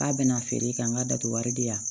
K'a bɛn'a feere ka n ga datugu wari di yan